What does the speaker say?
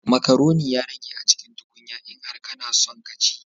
Macaroni ya rage a cikin tukunya, in har kana son ka ci